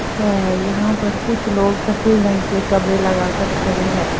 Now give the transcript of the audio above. है यहां पर कुछ लोग सफेद रंग के कबड़े लगाकर खड़े हैं।